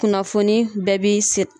Kunnafoni bɛɛ bi siri